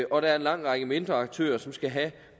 og at der er en lang række mindre aktører som skal have